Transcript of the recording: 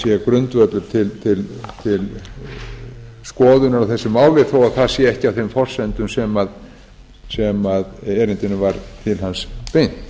grundvöllur til skoðunar á þessu máli þó að það sé ekki á þeim forsendum sem erindinu var til hans beint